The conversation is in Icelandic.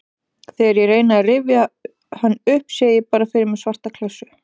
Þegar ég reyni að rifja hann upp sé ég bara fyrir mér svarta klessu.